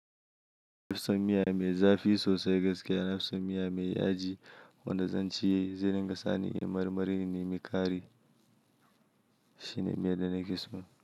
Na fi son miya mai zafi sosai gaskiya. Na fi son miya mai yaji wanda zan ci, zai ringa sa ni inyi marmari in nemi ƙari shine miya da nake so.